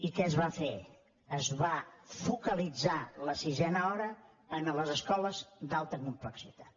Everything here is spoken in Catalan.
i què es va fer es va focalitzar la sisena hora en les escoles d’alta complexitat